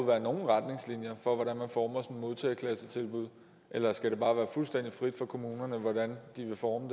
være nogen retningslinjer for hvordan man former sådan modtageklassetilbud eller skal det bare være fuldstændig frit for kommunerne hvordan de vil forme